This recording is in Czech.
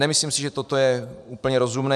Nemyslím si, že toto je úplně rozumné.